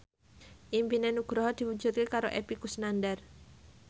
impine Nugroho diwujudke karo Epy Kusnandar